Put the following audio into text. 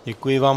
Děkuji vám.